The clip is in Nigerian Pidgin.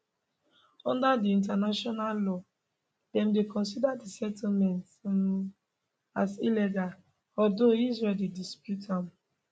under di international law dem dey consider di settlements um as illegal although israel dey dispute am